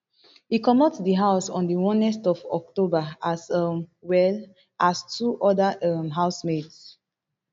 e comot di house on di onest of october as um well as two oda um housemates